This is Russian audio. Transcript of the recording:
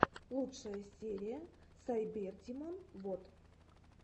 лучшая серия сайбердимон вот